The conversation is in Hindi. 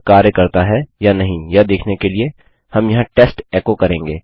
यह कार्य करता है या नहीं यह देखने के लिए हम यहाँ टेस्ट एको करेंगे